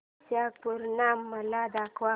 वैशाख पूर्णिमा मला दाखव